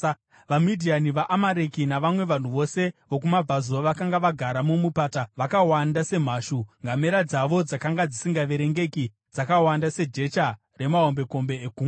VaMidhiani, vaAmareki navamwe vanhu vose vokumabvazuva vakanga vagara mumupata, vakawanda semhashu. Ngamera dzavo dzakanga dzisingaverengeki, dzakawanda sejecha remahombekombe egungwa.